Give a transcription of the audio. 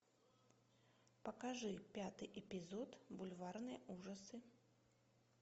покажи пятый эпизод бульварные ужасы